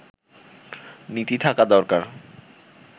নীতি থাকা দরকার